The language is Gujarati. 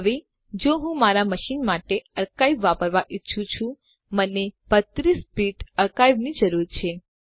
હવે જો હું મારા મશીન માટે અર્કાઇવ વાપરવાં ઈચ્છું છું મને 32 બીટ અર્કાઇવની જરૂર છે